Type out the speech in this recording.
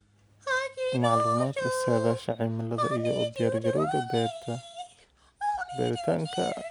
Macluumaadka saadaasha cimilada iyo u diyaargarowga beerta beeritaanka.